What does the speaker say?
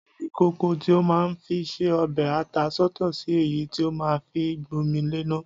Ya ìkòkò tí o máa ńfi ńse ọbẹ̀ ata sọ́tọ̀ sí èyí tí o máa ń fi gbómi léná.